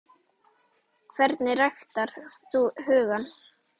Hvernig ræktar þú hugann?